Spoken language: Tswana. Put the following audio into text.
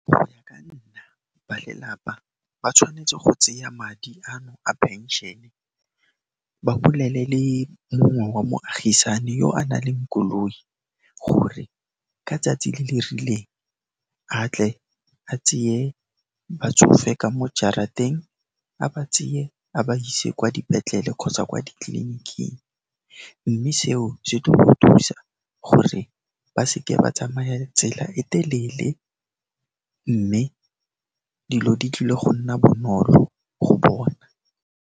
Go ya ka nna, ba lelapa ba tshwanetse go tseya madi ano a phenšene, ba bolele le mongwe wa moagisani yo a naleng koloi gore ka tsatsi le le rileng, a tle a tseye batsofe ka mo jarateng, a ba tseye a ba ise kwa dipetlele kgotsa kwa ditleliniking, mme seo se tlo go thusa gore ba seke ba tsamaya tsela e telele, mme dilo di tlile go nna bonolo go bona.